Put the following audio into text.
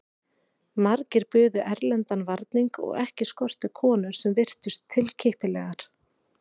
Margir buðu erlendan varning og ekki skorti konur sem virtust tilkippilegar.